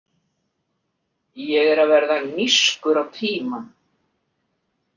Ég er að verða nískur á tímann.